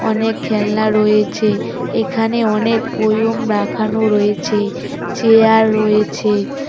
অনেক খেলনা রয়েছে এখানে অনেক বয়ম রাখানো রয়েছে চেয়ার রয়েছে।